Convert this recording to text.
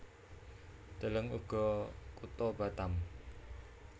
Deleng uga Kutha Batam